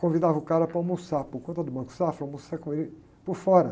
Convidava o cara para almoçar por conta do Banco Safra, almoçar com ele por fora.